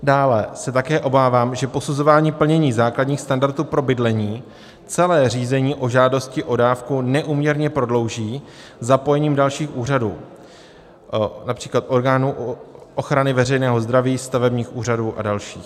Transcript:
Dále se také obávám, že posuzování plnění základních standardů pro bydlení celé řízení o žádosti o dávku neúměrně prodlouží zapojením dalších úřadů, například orgánů ochrany veřejného zdraví, stavebních úřadů a dalších.